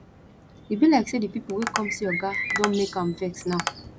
e be like say di people wey come see oga don make am vex now